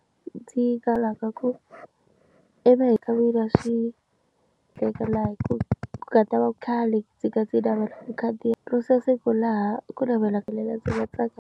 Ndzi kalaka ku na swi tekela hi ku katsa va khale ndzi ka ti lavela makhadi ya siku laha ku navelaka ndzi nga tsakanga.